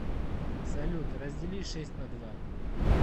салют раздели шесть на два